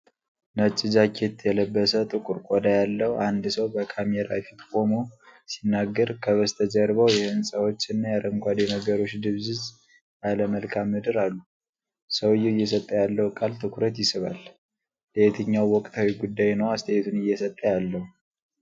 ነጭ ጃኬት የለበሰ፣ ጥቁር ቆዳ ያለው አንድ ሰው በካሜራ ፊት ቆሞ ሲናገር፣ ከበስተጀርባው የሕንፃዎች እና የአረንጓዴ ነገሮች ድብዝዝ ያለ መልክዓ ምድር አሉ። ሰውዬው እየሰጠ ያለው ቃል ትኩረት ይስባል። ስለየትኛው ወቅታዊ ጉዳይ ነው አስተያየቱን እየሰጠ ያለው?